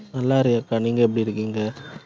நல்லா இருக்கேன் அக்கா, நீங்க எப்படி இருக்கீங்க